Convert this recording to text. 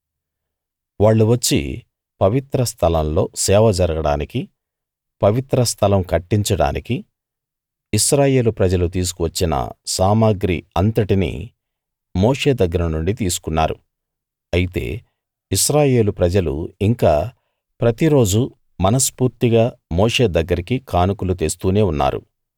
వాళ్ళు వచ్చి పవిత్ర స్థలం లో సేవ జరగడానికి పవిత్ర స్థలం కట్టించడానికి ఇశ్రాయేలు ప్రజలు తీసుకువచ్చిన సామగ్రి అంతటినీ మోషే దగ్గర నుండి తీసుకున్నారు అయితే ఇశ్రాయేలు ప్రజలు ఇంకా ప్రతిరోజూ మనస్ఫూర్తిగా మోషే దగ్గరికి కానుకలు తెస్తూనే ఉన్నారు